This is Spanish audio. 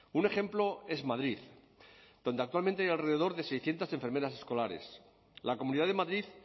un ejemplo es madrid donde actualmente hay alrededor de seiscientos enfermeras escolares la comunidad de madrid